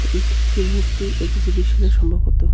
ছবিটি একটি মূর্তি এক্সিবিশানে সম্ভবত.